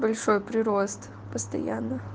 большой прирост постоянно